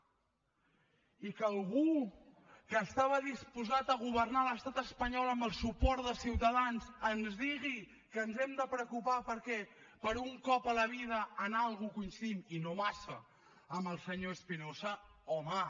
i que algú que estava disposat a governar l’estat espanyol amb el suport de ciutadans ens digui que ens hem de preocupar perquè per un cop a la vida en alguna cosa coincidim i no massa amb el senyor espinosa home